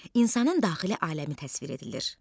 İnsanın daxili aləmi təsvir edilir.